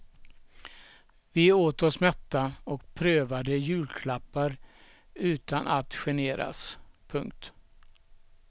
Vi åt oss mätta och prövade julklappar utan att generas. punkt